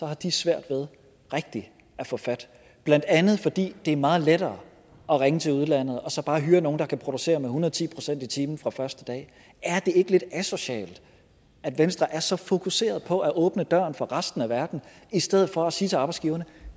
har de svært ved rigtig at få fat blandt andet fordi det er meget lettere at ringe til udlandet og så bare hyre nogle der kan producere med hundrede ti procent i timen fra første dag er det ikke lidt asocialt at venstre er så fokuseret på at åbne døren for resten af verden i stedet for at sige til arbejdsgiverne at